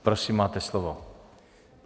Prosím, máte slovo.